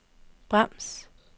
brems